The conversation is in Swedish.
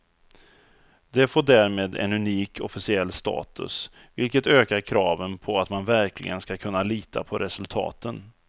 Det får därmed en unik officiell status, vilket ökar kraven på att man verkligen ska kunna lita på resultaten.